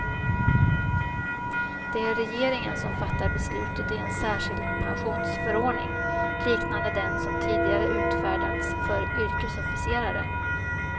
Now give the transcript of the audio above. Det är regeringen som fattat beslutet i en särskild pensionsförordning, liknande den som tidigare utfärdats för yrkesofficerare.